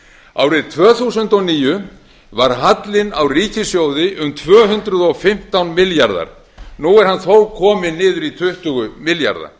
árið tvö þúsund og níu var hallinn á ríkissjóði um tvö hundruð og fimmtán milljarðar nú er hann þó kominn niður í tuttugu milljarða